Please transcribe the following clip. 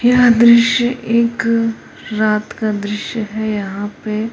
यह दृश्य एक रात का दृश्य है यहां पे--